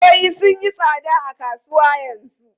Wayoyi sun yi tsada a kasuwa yanzu.